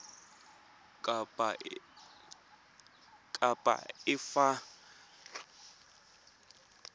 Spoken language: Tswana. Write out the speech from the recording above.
kapa efe ya merero ya